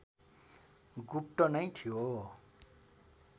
गुप्त नै थियो